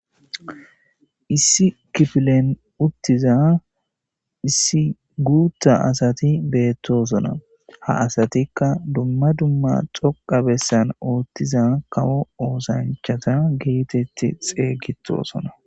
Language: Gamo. issi kifilen uttiza issi guutta asati beettosona ha asatikka dumma dumma xoqa bessan ooththiza kawo oosanchata geetetti xeygitosona